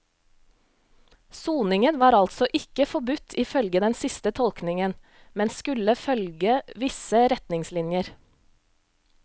Soningen var altså ikke forbudt i følge den siste tolkningen, men skulle følge visse retningslinjer.